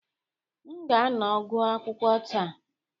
M ga-anọ gụọ akwụkwọ taa.